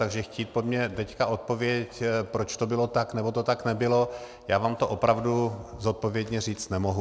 Takže chtít po mně teď odpověď, proč to bylo tak, nebo to tak nebylo, já vám to opravdu zodpovědně říct nemohu.